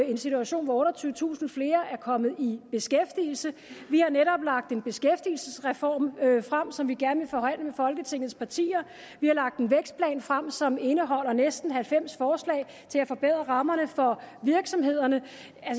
i en situation hvor otteogtyvetusind flere er kommet i beskæftigelse vi har netop lagt en beskæftigelsesreform frem som vi gerne vil forhandle med folketingets partier vi har lagt en vækstplan frem som indeholder næsten halvfems forslag til at forbedre rammerne for virksomhederne